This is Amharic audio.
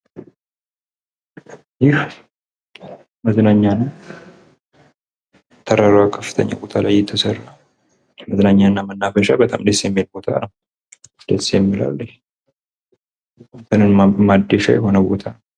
ይህ መዝናኛ ነው ፤ ተራራማ ቦታ ላይ የተሰራ መዝናኛ እና መናፈሻ ቦታ ፤ በጣም ደስ የሚል ቦታ ነው ፤ ቀንን ማደሻ ቦታ ነው።